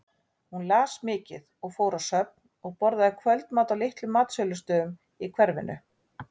Hún las mikið og fór á söfn og borðaði kvöldmat á litlum matsölustöðum í hverfinu.